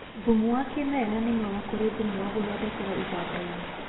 Thumu wa kĩmerera nĩ mwega kũrĩ thumu wa gũthondekerwo iganda-inĩ